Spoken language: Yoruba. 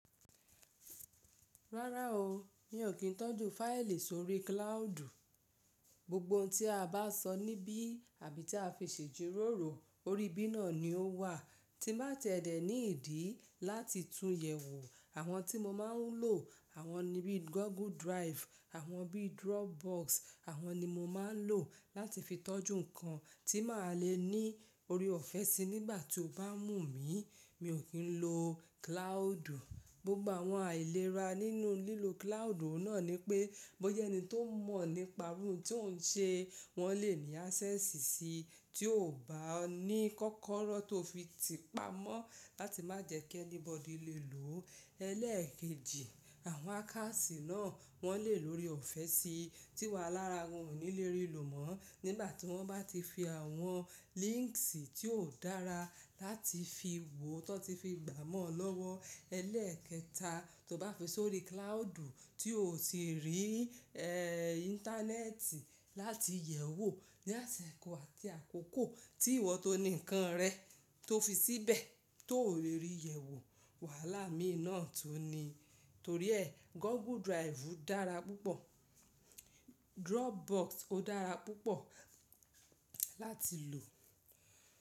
Rárá o, mi ò kín tọ́jú fáìlì sórí kílàudu Gbogbo ohun tí a bá sọ níbí àbí tí a fi ṣe jíròrò, orí ibí náà ni ó wà tí bá tiẹ́ dẹ̀ ní ìdí láti tún yẹ̀ wò. Àwọn tí mo máa ń lò, àwọn nibi Google Drive, àwọn bí Dropbox àwọn ni mo máa ń lò láti fi tọ́jú nǹkan tí màá le ní orí ọ̀fẹ́ sì nígbà tí o bá mú mi, mi ò kín lo kílàádu. Gbogbo àwọn àìlera nínú lílo kílàádu o náà ni pé bóyẹ́ ẹni tó mọ̀ nípa iru òhun tí ò ń ṣe wọ́n lè ní ásẹ́ẹ̀sì sí tí o ò bá ní kọ́kọ́rọ́ tó fi ti pa mọ́ láti má jẹ́ kí ẹnibọ̀dì lè lò ó. Elẹ́ẹ̀kejì, àwọn àkáàsí náà wọ́n lè lórí ọ̀fẹ́ sì tíwà lára wọn ò ní lè rí ìlò mọ́ nígbà tí wọ́n bá ti fi àwọn líńks tí óò dára láti fi wò tó ti fi gbà mọ́ lọ́wọ́. Elẹ́ẹ̀kẹta, tó bá fi sórí kílàádu tí o ò tíì rí í ẹ̀ ìńtánẹ́ẹ̀tì láti yẹ̀ wò ní àsẹ̀kọ̀ àti àkókò tí ìwọ tó ni nǹkan rẹ tó fi síbẹ̀ tóò lè rí yẹ̀ wò, wàhálà mi náà tó ni. Torí ẹ Google Drive dára púpọ̀, Dropbox ó dára púpọ̀ láti lò.